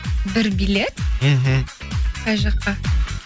бір билет мхм қай жаққа